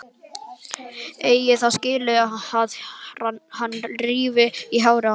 Eigi það skilið að hann rífi í hárið á henni.